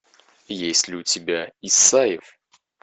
есть ли у тебя исаев